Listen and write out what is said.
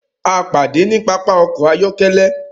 À pàdé ní pàpà ọkọ̀ ayọ̀kẹ̀lé.